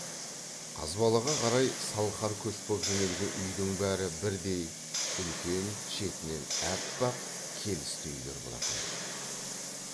қазбалаға қарай салқар көш боп жөнелген үйдің бәрі бірдей үлкен шетінен аппақ келісті үйлер болатын